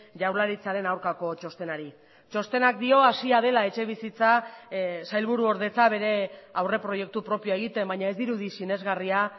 jaurlaritzaren aurkako txostenari txostenak dio hasia dela etxebizitza sailburuordetza bere aurreproiektu propioa egiten baina ez dirudi sinesgarria